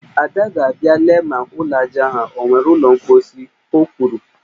Ada ga-abịa lee ma ụlọ ajá ahụ o nwere ụlọ mkposhi, o kwuru